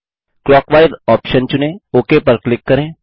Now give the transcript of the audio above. clockwise option चुनें OK पर click करें